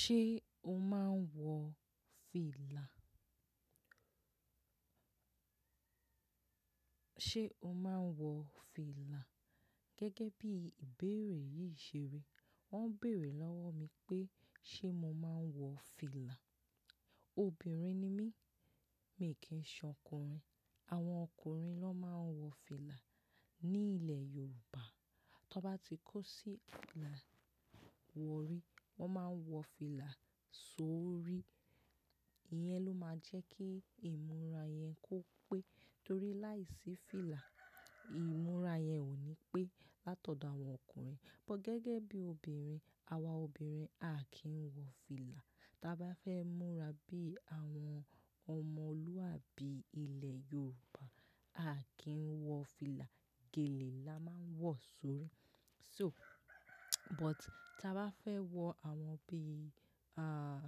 Ṣé o máa ń wọ fìlà? Ṣé o máa ń wọ fìlà? Gẹ́gẹ́ bí ìbéèrè na ṣe rí, wọ́n ń bèèrè lọ́wọ́ mi pé ṣé mo máa ń wọ fìlà. Obìnrin ni mí, mi kì í ṣe oko won Àwọn ọkùnrin ló máa ń wọ fìlà ní ilẹ̀ Yorùbá. Tọ bá ti kó sí ìlà wọ́rí, wọ́n máa ń wọ fìlà sórí. Iyẹn ló máa jẹ́ kí ìmúra won kó pé. Torí láìsí fìlà, ìmúra yẹn ò ní pé látọ̀dọ̀ àwọn ọkùnrin. But gẹ́gẹ́ bí obìnrin, àwa obìnrin, a kì í wọ fìlà. Taa bá fẹ́ múra bí àwọn ọmọlúàbí ilẹ̀ Yorùbá, a kì í wọ fìlà. Gèlè la máa ń wọ sórí. So, but t'a bá fẹ́ wọ àwọn bí, ah,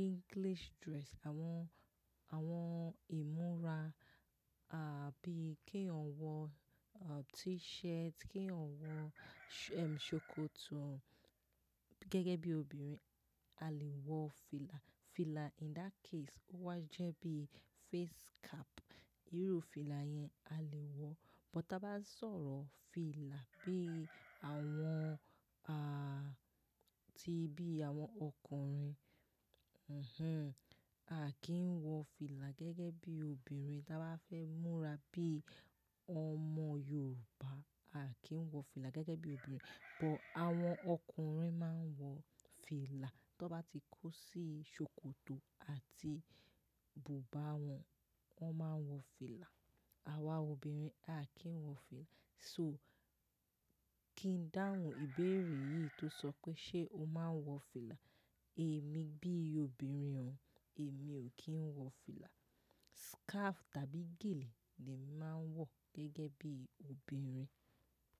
English dress, àwọn, àwọn ìmúra, ah, bí kí eyan wọ, ah, T-shirt, kí ọ wọ, em, ṣòkòtò gẹ́gẹ́ bí obìnrin, a lè wọ fìlà. Fìlà in that case ó wa jẹ́ bí face cap. Irú fìlà yẹn a lè wọ. But tá bá ń sọ̀rọ̀ fìlà bí àwọn, ah, ti bí àwọn ọkùnrin, a kì í wọ fìlà gẹ́gẹ́ bí obìnrin. Taa bá fẹ́ múra bí ọmọ Yorùbá, a kì í wọ fìlà gẹ́gẹ́ bí obìnrin. But àwọn ọkùnrin máa ń wọ fìlà. Tọ bá ti kó sí ṣòkòtò àti bùbá wọn, wọ́n máa ń wọ fìlà. Àwa obìnrin, a kì í wọ fìlà. So, kí n dáhùn ìbéèrè yìí tó sọ pé ṣé o máa ń wọ fìlà. Èmi bí obìnrin o, èmi ò kí ń wọ fìlà. Scarf tàbí gèlè ni mo máa ń wọ gẹ́gẹ́ bí obìnrin.